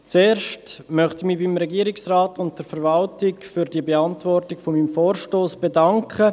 Zuerst möchte ich mich beim Regierungsrat und der Verwaltung für die Beantwortung meines Vorstosses bedanken.